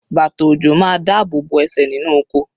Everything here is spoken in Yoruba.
Bàtà ọ̀jọ̀ máa dá ààbò bo ẹsẹ̀ nínú oko